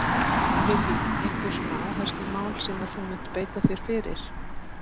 Lillý: Einhver svona áherslumál sem að þú munt beita þér fyrir?